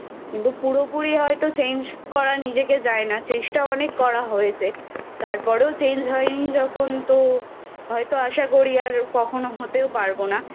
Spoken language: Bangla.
কিন্তু পুরোপুরি হয়তো Change করা নিজেকে যায় না চেষ্টা অনেক করা হয়েছে তারপরেও Change হয়নি যখন তো হয়তো আশা করি আর কখনও হতেও পারবো না।